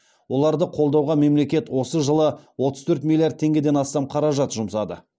оларды қолдауға мемлекет осы жылы отыз төрт миллиард теңгеден астам қаражат жұмсады